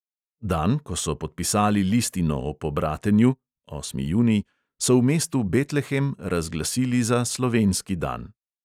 Dan, ko so podpisali listino o pobratenju (osmi junij), so v mestu betlehem razglasili za slovenski dan.